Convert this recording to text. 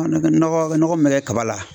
Nɔgɔ nɔgɔ min bɛ kɛ kaba la.